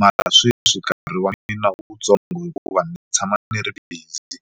mara sweswi nkarhi wa mina wutsongo hikuva ni tshama ni ri busy.